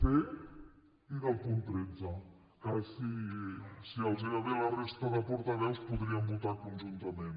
c i del punt tretze que si els va bé a la resta de portaveus podríem votar conjuntament